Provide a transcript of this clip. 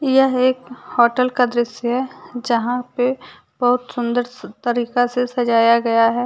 यह एक होटल का दृश्य है यहां पे बहुत सुंदर तरीका से सजाया गया है।